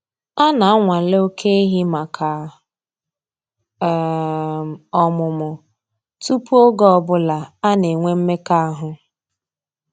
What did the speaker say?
A na-anwale oke ehi maka um ọmụmụ tupu oge ọ bụla ana-enwe mmekọahụ.